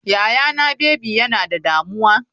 Yayana baby yana da damuwa.